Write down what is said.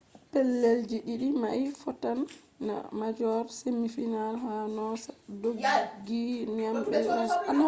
pellel ji ɗiɗi mai fottan ha major semi final ha noosa dooggi nyami be 11 points